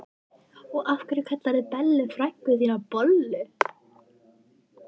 Og af hverju kallarðu Bellu frænku þína bollu?